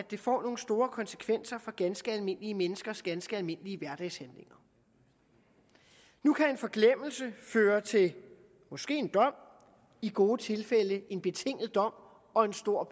det får nogle store konsekvenser for ganske almindelige menneskers ganske almindelige hverdagshandlinger nu kan en forglemmelse føre til måske en dom i gode tilfælde en betinget dom og en stor